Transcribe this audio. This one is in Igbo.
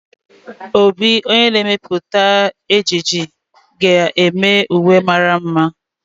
Obi, onye na-emepụta ejiji, ga-eme uwe mara mma